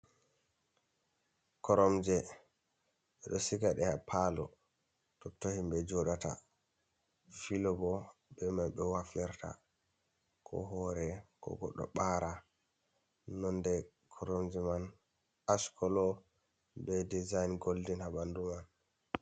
Koromje, ɓeɗo sigaɗe ha palo totto himɓe joɗata. filo bo ɓe man ɓewaflirta, ko hore ko goddo ɓara. nonɗe koromje man ash colo be dizayin goldin haɓandu man.